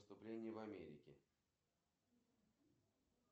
афина когда уже все нормально то будет